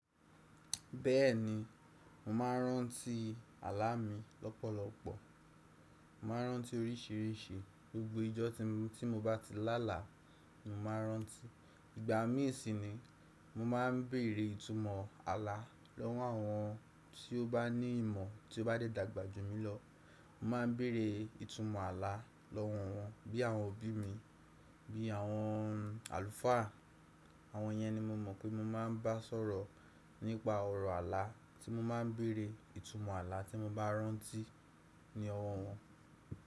Bẹ́ẹ̀ni, mo máa ń rántí àlá mi lọ́pọ̀lọpọ̀. Mo máa ń rántí oríṣìíríṣìí, gbogbo ijọ́ tí mo bá ti lá là, mo máa ń rántí. Ìgbà mí ìsìn ni mo máa ń bèrè ìtumọ̀ àlá lọ́wọ́ àwọn tí ó bá ní ìmọ̀, tí ó bá dé dàgbà jù mí lọ. Mo má ń bèrè ìtumọ̀ àlá lọ́wọ́ wọn bí àwọn òbí mi, bí àwọn àlùfáà, àwọn yẹn ni mo mọ̀ pé mo máa ń bá sọ̀rọ̀ nípa ọ̀rọ̀ àlá tí mo má ń bèrè ìtumọ̀ àlá tí mo bá rántí ní ọwọ́ wọn.